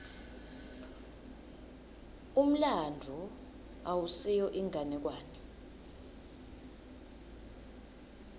umlandvo awusiyo inganekwane